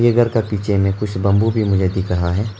ये घर का पीछे में कुछ बंबू भी मुझे दिख रहा है।